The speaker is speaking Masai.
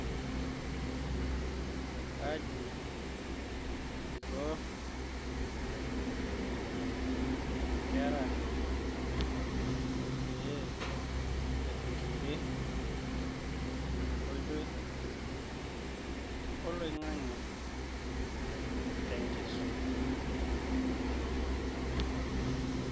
Kaji iko inkera pee edupore enkoitoi oloing'ang'e te enkisuma?